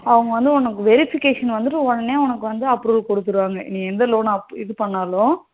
அவங்க வந்து verification வந்துட்டு உனக்கு உடனே approval கொடுத்துடுவாங்க நீ எந்த loan இது பண்ணாலும்